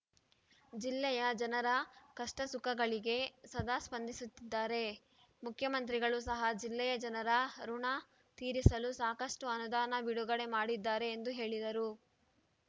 ಜಿಲ್ಲೆಯ ಜನರ ಕಷ್ಟಸುಖಗಳಿಗೆ ಸದಾ ಸ್ಪಂದಿಸುತ್ತಿದ್ದಾರೆ ಮುಖ್ಯಮಂತ್ರಿಗಳು ಸಹ ಜಿಲ್ಲೆಯ ಜನರ ಋಣ ತೀರಿಸಲು ಸಾಕಷ್ಟು ಅನುದಾನ ಬಿಡುಗಡೆ ಮಾಡಿದ್ದಾರೆ ಎಂದು ಹೇಳಿದರು